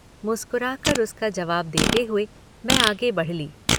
मुस्कराकर उसका जवाब देते हुए मैं आगे बढ़ ली।